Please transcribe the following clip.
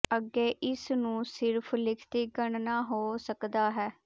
ਅੱਗੇ ਇਸ ਨੂੰ ਸਿਰਫ ਲਿਖਤੀ ਗਣਨਾ ਹੋ ਸਕਦਾ ਹੈ